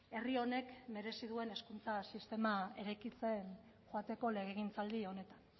herri honek merezi duen hezkuntza sistema eraikitzen joateko legegintzaldi honetan